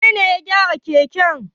Wane ne ya gyara keken?